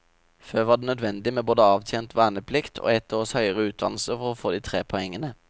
Før var det nødvendig med både avtjent verneplikt og ett års høyere utdannelse for å få de tre poengene.